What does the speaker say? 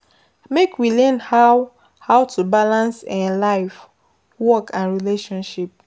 Make we learn how how to balance um life, work and relationship